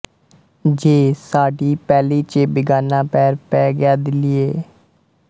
ਜੇ ਸਾਡੀ ਪੈਲੀ ਚ ਬਿਗਾਨਾ ਪੈਰ ਪੈ ਗਿਆ ਦਿੱਲੀਏ